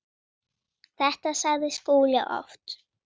Þetta sagði Skúli oft.